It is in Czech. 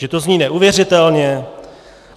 Že to zní neuvěřitelně?